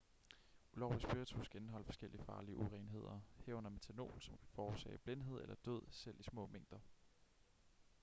ulovlig spiritus kan indeholde forskellige farlige urenheder herunder methanol som kan forårsage blindhed eller død selv i små mængder